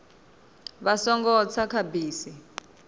vha songo tsa kha bisi